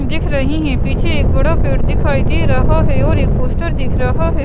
दिख रहीं हैं पीछे एक बड़ा पेड़ दिखाई दे रहा है और एक पोस्टर दिख रहा है।